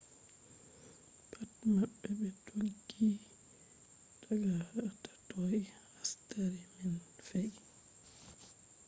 pat mabbe be dooggi daga hatoi hastari man fe’i